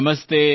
ನಮಸ್ತೇ